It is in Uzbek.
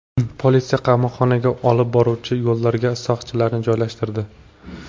Politsiya qamoqxonaga olib boruvchi yo‘llarga soqchilarni joylashtirdi.